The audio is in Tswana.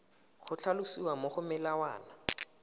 go tlhalosiwa mo go molawana